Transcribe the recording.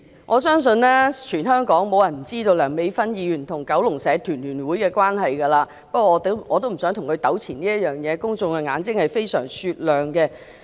我相信全香港沒有人不知道梁美芬議員與九龍社團聯會的關係，不過我也不想與她在這件事上糾纏，公眾的眼睛是非常雪亮的。